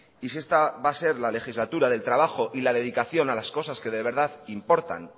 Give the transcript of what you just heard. y si esta va a ser la legislatura del trabajo y la dedicación a las cosas que de verdad importan